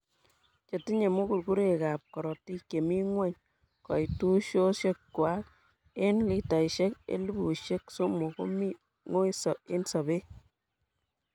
Chetinye mugurgurekab korotik chemi ng'weny koitusosiekwak en litaisiek elpusiek sosom komi ng'oii en sobet.